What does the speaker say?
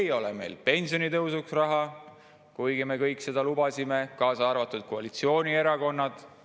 Ei ole meil pensionitõusuks raha, kuigi me kõik seda lubasime, kaasa arvatud koalitsioonierakonnad.